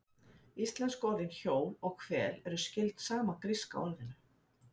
Íslensku orðin hjól og hvel eru skyld sama gríska orðinu.